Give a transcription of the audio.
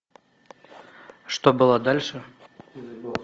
что было дальше